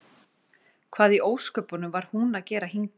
Hvað í ósköpunum var hún að gera hingað?